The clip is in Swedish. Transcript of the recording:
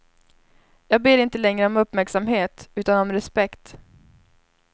Jag ber inte längre om uppmärksamhet utan om respekt.